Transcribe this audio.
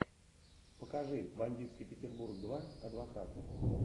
покажи бандитский петербург два адвокат